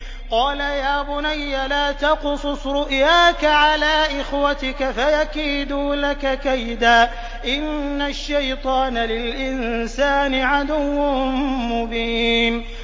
قَالَ يَا بُنَيَّ لَا تَقْصُصْ رُؤْيَاكَ عَلَىٰ إِخْوَتِكَ فَيَكِيدُوا لَكَ كَيْدًا ۖ إِنَّ الشَّيْطَانَ لِلْإِنسَانِ عَدُوٌّ مُّبِينٌ